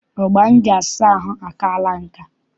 Ogbo m ji asa ahụ akaala nka.